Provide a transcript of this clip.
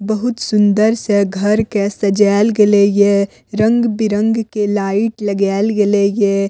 बहुत सुंदर से घर के सजेएल गेले ये रंग-बिरंग के लाइट लगाएल गेले ये।